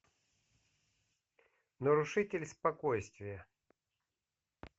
нарушитель спокойствия